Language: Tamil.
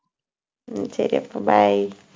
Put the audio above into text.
உம் சரி, அப்ப bye